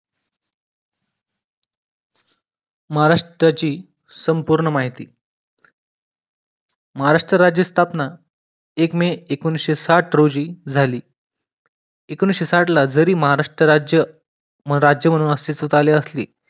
महाराष्ट्राची संपूर्ण माहित महाराष्ट्र राज्याची स्थापना एक मे एकोणविसशे साठ रोजी झाल एकोणविसशे साठला जरी महाराष्ट्र राज्य राज्य म्हणून अस्तित्वात आले असली